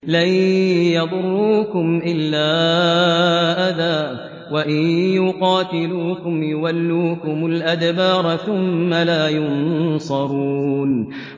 لَن يَضُرُّوكُمْ إِلَّا أَذًى ۖ وَإِن يُقَاتِلُوكُمْ يُوَلُّوكُمُ الْأَدْبَارَ ثُمَّ لَا يُنصَرُونَ